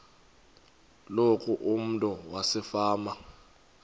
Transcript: loku umntu wasefama